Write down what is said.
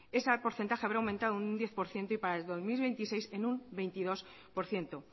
ese porcentaje habrá aumentado en un diez por ciento y para el dos mil veintiséis en un veintidós por ciento